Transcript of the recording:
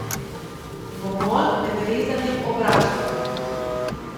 Gomolj med rezanjem obračajte.